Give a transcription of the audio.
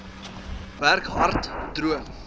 werk hard droom